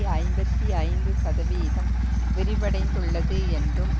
ஐம்பத்தி ஐந்து சதவீதம் விரிவடைந்துள்ளது என்றும்